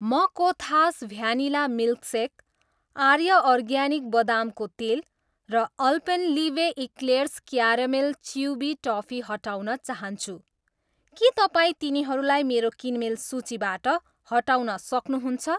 म कोथास vanilla milkshake, Arya organic बदामको तेल र Alpenliebe eclairs caramel chewy toffee हटाउन चाहन्छु, के तपाईँ तिनीहरूलाई मेरो किनमेल सूचीबाट हटाउन सक्नुहुन्छ?